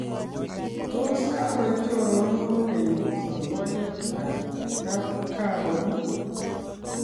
Tos kakoek choronok kokeny songoliet ak kapkagaon?